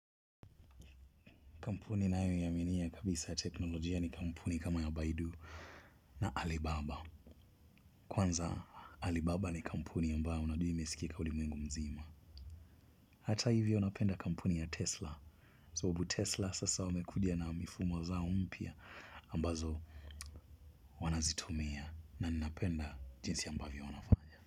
Kampuni nayoiaminia kabisa ya teknolojia ni kampuni kama ya Baidu na Alibaba. Kwanza Alibaba ni kampuni ambayo unaduhi imesikika ulimwengu mzima. Hata hivyo napenda kampuni ya Tesla. Sababu Tesla sasa wamekuja na mifumo zao mpya ambazo wanazitumia na nnapenda jinsi ambavyo wanafanya.